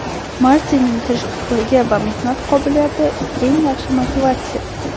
Martinning tirishqoqligi va mehnat qobiliyati – eng yaxshi motivatsiya.